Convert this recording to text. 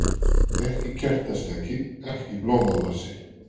Ekki kertastjaki, ekki blómavasi.